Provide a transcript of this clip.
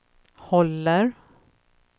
håller